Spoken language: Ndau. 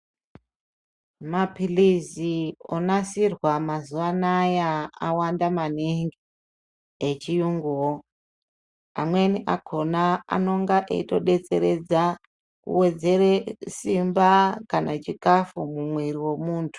Mapilizi onasirwa mazuva anaya awanda maningi echiyunguwo, amweni akhona anonga eyitodetseredza kuwedzera simba kana chikafu mumwiri wemuntu.